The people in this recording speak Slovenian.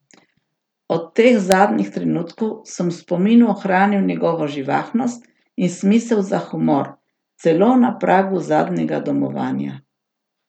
Od teh zadnjih trenutkov sem v spominu ohranil njegovo živahnost in smisel za humor, celo na pragu zadnjega domovanja.